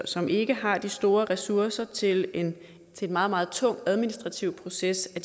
som ikke har de store ressourcer til en meget meget tung administrativ proces at